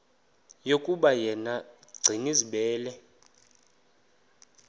yokuba yena gcinizibele